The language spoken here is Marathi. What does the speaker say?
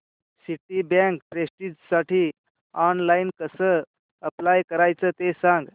सिटीबँक प्रेस्टिजसाठी ऑनलाइन कसं अप्लाय करायचं ते सांग